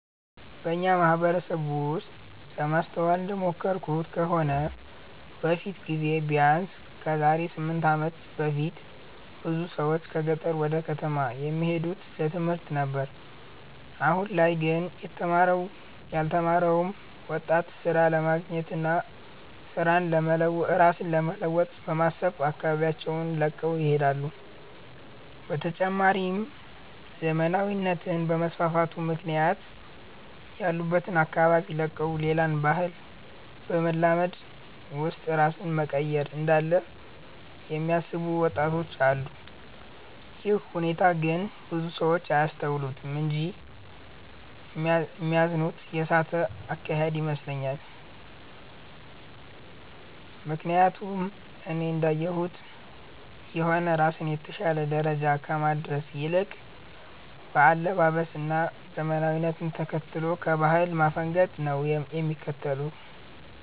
በኛ ማህበረሰብ ውስጥ ለማስተዋል እንደሞከርኩት ከሆነ በፊት ጊዜ ቢያነስ ከዛሬ 8 አመት በፊት ብዙ ሰዎች ከገጠር ወደ ከተማ የሚሄዱት ለትምህርት ነበር አሁን ላይ ግን የተማረውም ያልተማረው ወጣት ስራ ለማግኘት እና ራስን ለመለወጥ በማሰብ አካባቢያቸውን ለቀው ይሄዳሉ። በተጨማሪም ዘመናዊነት በመስፋፋቱ ምክንያት ያሉበትን አካባቢ ለቀው ሌላን ባህል በማላመድ ውስጥ ራስን መቀየር እንዳለ የሚያስቡ ወጣቶች አሉ። ይህ ሁኔታ ግን ብዙ ሰው አያስተውሉትም እንጂ ሚዛኑን የሳተ አካሄድ ይመስለኛል። ምክያቱም እኔ እንዳየሁት ከሆነ ራስን የተሻለ ደረጃ ከማድረስ ይልቅ በአለባበስ እና ዘመናዊነትን ተከትሎ ከባህል ማፈንገጥን ነው ያስከተለው።